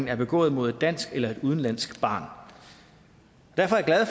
er begået mod et dansk eller udenlandsk barn derfor er jeg